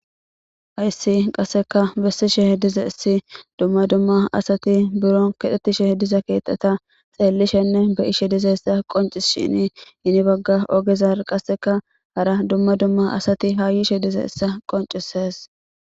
Hayssi qasseka bessishe dizayssi dumma dumma asati biro keexetishe diza keetata xeellishenne be'ishe dizeyssa qoncishini ini bagga ogezara qasseka hara dumma dumma asati ha yishe dizayssa qonccisees.